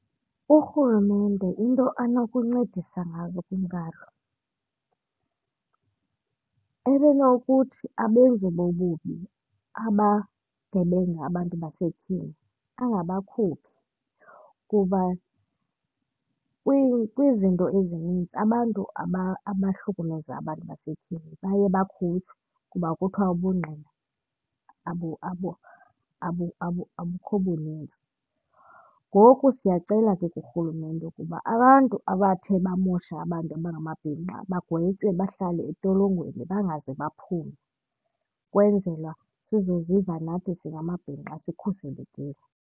URhulumente into anokuncedisa ngazo kwintlalo ebenokuthi abenzi bobubi abagebenga abantu basetyhini angabakhuphi kuba kwizinto ezinintsi abantu abahlukumeza abantu basetyhini baye bakhutshwe kuba kuthiwa ubungqina abukho bunintsi. Ngoku siyacela ke kuRhulumente ukuba abantu abathe bamosha abantu abangamabhinqa bagwetywe bahlale entolongweni, bangaze baphume ukwenzela sizoziva nathi singamabhinqa sikhuselekile.